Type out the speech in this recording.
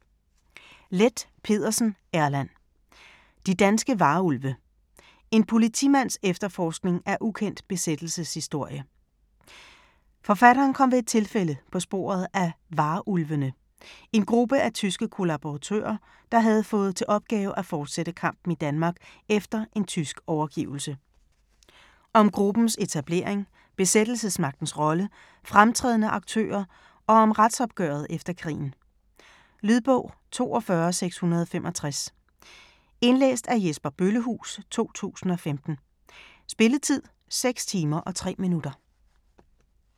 Leth Pedersen, Erland: De danske varulve: en politimands efterforskning af ukendt besættelseshistorie Forfatteren kom ved et tilfælde på sporet af "Varulvene", en gruppe af tyske kollaboratører, der havde fået til opgave at forsætte kampen i Danmark efter en tysk overgivelse. Om gruppens etablering, besættelsesmagtens rolle, fremtrædende aktører og om retsopgøret efter krigen. Lydbog 42665 Indlæst af Jesper Bøllehuus, 2015. Spilletid: 6 timer, 3 minutter.